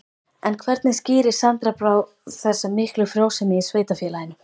En hvernig skýrir Sandra Brá þessa miklu frjósemi í sveitarfélaginu?